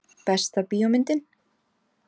Besta bíómyndin?